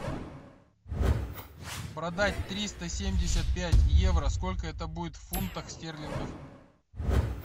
продать триста семьдесят пять евро сколько это будет в фунтах стерлингов